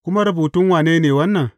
Kuma rubutun wane ne wannan?